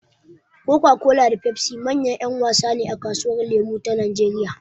Coca-Cola da Pepsi manyan ‘yan wasa ne a kasuwar lemo ta Najeriya.